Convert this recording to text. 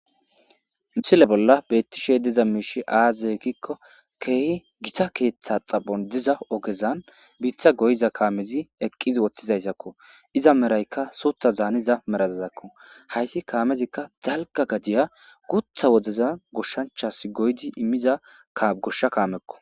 misile bolla beettishe diza miishi aaze ekkikko keehi gita keeththa xabon diza ogezan biitha goyiza kaamezi eqqiz wottizayssakko iza meraykka suutha zaaniza merazazakko hayssi kaamezikka zalka gadiya gutha woddeza goshshanchas goydi immiza goshsha kaamekko